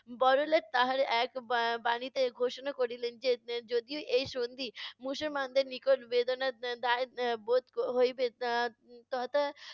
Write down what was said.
বড়লাট তাহার এক বাণীতে ঘোষনা করিলেন যে, যদিও এই সন্ধি মুসলমানদের নিকট বেদনা দা~ দায়ক বোধ হইবে তথা